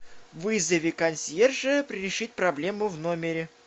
вызови консьержа решить проблему в номере